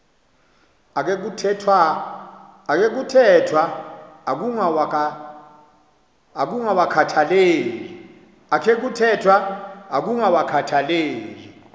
akhe kuthethwa ukungawakhathaleli